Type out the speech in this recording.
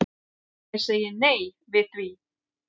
Ég segi nei við því.